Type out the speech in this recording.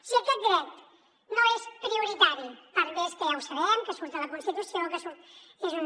si aquest dret no és prioritari per més que ja ho sabem que surt a la constitució que és un